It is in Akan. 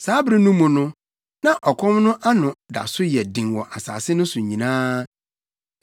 Saa bere no mu no, na ɔkɔm no ano da so yɛ den wɔ asase no so nyinaa.